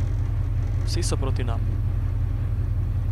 Vsi so proti nam.